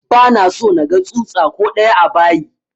Ba na so naga tsutsa ko ɗaya a bayi!